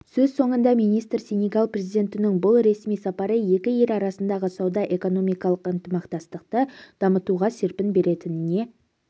сөз соңында министр сенегал президентінің бұл ресми сапары екі ел арасындағы сауда-экономикалық ынтымақтастықты дамытуға серпін беретініне